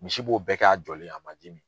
Misi b'o bɛɛ k'a jɔlen a man ji min.